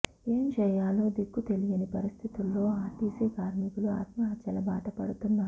ఏం చేయాలో దిక్కు తెలియని పరిస్థితుల్లో ఆర్టీసీ కార్మికులు ఆత్మహత్యల బాట పడుతున్నారు